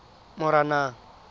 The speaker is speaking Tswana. moranang